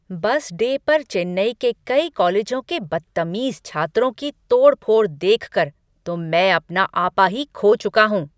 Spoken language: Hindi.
बस डे पर चेन्नई के कई कॉलेजों के बद्तमीज़ छात्रों की तोड़फोड़ देखकर तो मैं अपना आपा ही खो चुका हूँ।